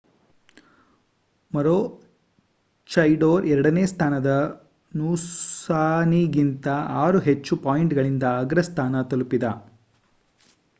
ಮರೂಚೈಡೋರ್ ಎರಡನೇ ಸ್ಥಾನದ ನೂಸಾನಿಗಿಂತ ಆರು ಹೆಚ್ಚು ಪಾಯಿಂಟ್‌ಗಳಿಂದ ಅಗ್ರಸ್ಥಾನ ತಲುಪಿದ